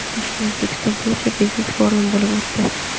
Toshkentda O‘zbekiston–Polsha biznes forumi bo‘lib o‘tdi.